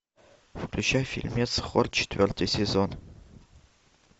включай фильмец хор четвертый сезон